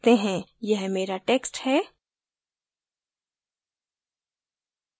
यह मेरा text है